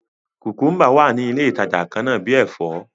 Kùkúmbà wá ní ilé ìtàjà kànnà bi èfó.